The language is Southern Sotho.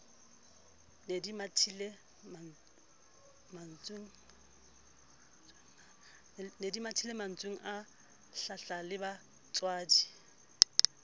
ne di mathile mantswenga hlahlalebajwadi